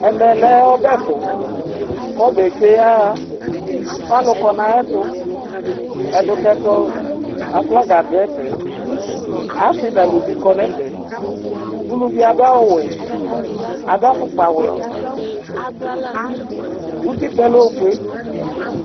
Ɛmɛ lɛ ɔbɛtu, ku ɔbɛ tsʋe ya ɣa, ku alu kɔ nu ayɛtu, ɛdukɛtu aflaga du ɛfɛ, asi nu eluvi kɔ nu ɛfɛ, uluvi adu awu wɛ, adu afukpa wɛ utikpa yɛ lɛ ofue